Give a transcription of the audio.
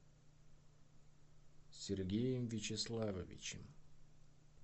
сергеем вячеславовичем